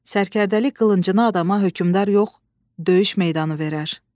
Sərkərdəlik qılıncını adama hökümdar yox, döyüş meydanı verər.